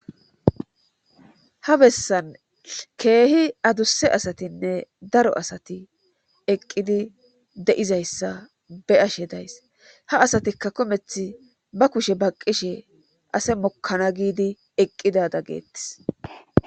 Ha bessan keehi adusse asatinne daro asati eqqidi de'izayssa beashe days haasatikka kometh ba kushe baqqishe ase mokkana giidi eqqida dageettis.